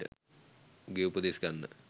උගේ උපදෙස් ගන්න